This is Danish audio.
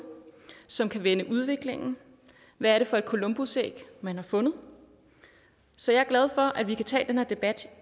som kan vende udviklingen hvad er det for et columbusæg man har fundet så jeg er glad for at vi kan tage den debat